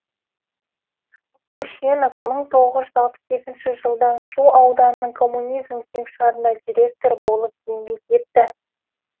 көшенов мың тоғыз алпыс екінші жылдан шу ауданының коммунизм кеңшарында директор болып еңбек етті